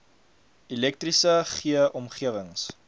elektriese g omgewings